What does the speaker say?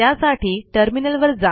त्यासाठी टर्मिनलवर जा